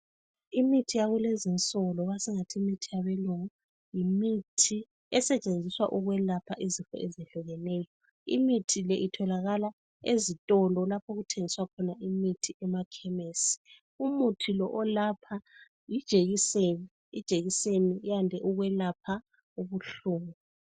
Imithi yakulezi insuku esingathi imithi yabelungu yimithi esetshenziswa ukwelapha izifo ezihlukeneyo. Imithi le itholakala ezitolo lapho okuthengiswa khona imithi emakhemisi. Umithi lo olapha yijekiseni, ijekiseni yande ukwelapha ubuhlungu.